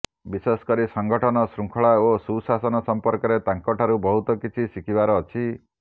ବିଶେଷକରି ସଂଗଠନ ଶୃଙ୍ଖଳା ଓ ସୁଶାସନ ସମ୍ପର୍କରେ ତାଙ୍କ ଠାରୁ ବହୁତ କିଛି ଶିଖିବାର ଅଛି